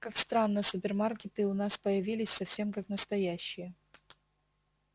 как странно супермаркеты у нас появились совсем как настоящие